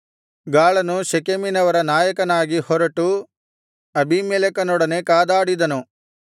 ಗಾಳನು ಶೆಕೆಮಿನವರ ನಾಯಕನಾಗಿ ಹೊರಟು ಅಬೀಮೆಲೆಕನೊಡನೆ ಕಾದಾಡಿದನು